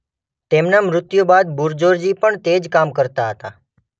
તેમના મૃત્યુ બાદ બુરઝોરજી પણ તે જ કામ કરતા હતા.